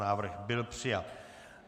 Návrh byl přijat.